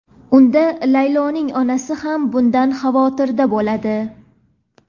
unda Layloning onasi ham bundan xavotirda bo‘ladi.